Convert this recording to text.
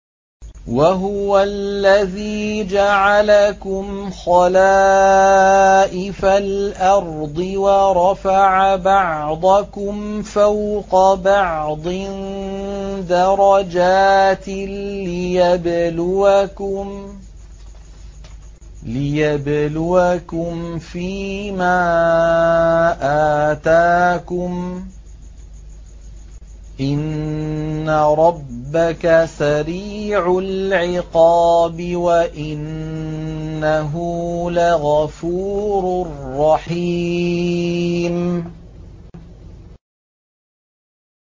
وَهُوَ الَّذِي جَعَلَكُمْ خَلَائِفَ الْأَرْضِ وَرَفَعَ بَعْضَكُمْ فَوْقَ بَعْضٍ دَرَجَاتٍ لِّيَبْلُوَكُمْ فِي مَا آتَاكُمْ ۗ إِنَّ رَبَّكَ سَرِيعُ الْعِقَابِ وَإِنَّهُ لَغَفُورٌ رَّحِيمٌ